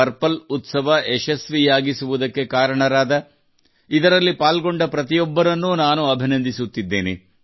purple ಉತ್ಸವ ಯಶಸ್ವಿಯಾಗಿಸುವುದಕ್ಕೆ ಕಾರಣರಾದ ಇದರಲ್ಲಿ ಪಾಲ್ಗೊಂಡ ಪ್ರತಿಯೊಬ್ಬರನ್ನೂ ನಾನು ಅಭಿನಂದಿಸುತ್ತಿದ್ದೇನೆ